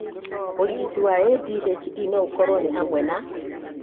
ũrigiti wa ADHD no ũkorwo nĩ hamwe na: